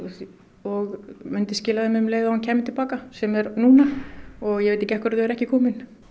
og myndi skila þeim um leið og hann kæmi til baka sem er núna og ég veit ekki alveg af hverju þau eru ekki komin